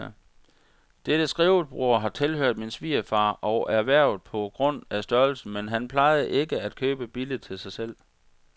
Dette skrivebord har tilhørt min svigerfar og er erhvervet på grund af størrelsen, men han plejede ikke at købe billigt til sig selv.